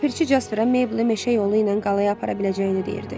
Ləpirçi Jasperə Maple meşə yolu ilə qalaya apara biləcəyini deyirdi.